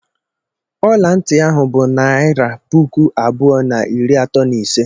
Ọla ntị ahụ bụ naịra puku abụọ na iri atọ na ise.